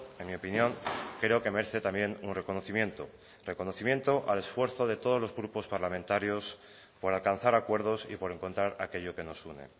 en mi opinión creo que merece también un reconocimiento reconocimiento al esfuerzo de todos los grupos parlamentarios por alcanzar acuerdos y por encontrar aquello que nos une